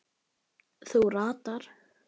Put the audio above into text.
Þú ratar.